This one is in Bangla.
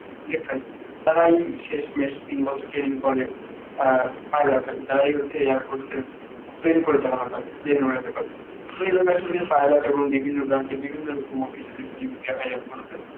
select হয় তারা ওই শেষমেষ তিন বছর ট্রেনিং পড়ে অ্যাঁ তারাই হচ্ছে air force এ plane পরিচালনা করে, plane ওড়াতে পারে. pilot এবং বিভিন্ন branch এ বিভিন্ন air force এ